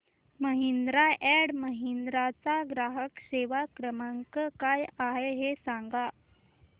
Mahindra and Mahindra चा ग्राहक सेवा क्रमांक काय आहे हे सांगा